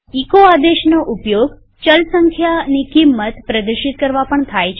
echo આદેશનો ઉપયોગ ચલ સંખ્યાની કિંમત પ્રદર્શિત કરવા પણ થાય છે